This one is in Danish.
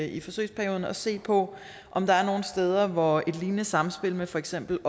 i forsøgsperioden at se på om der er nogle steder hvor et lignende samspil med for eksempel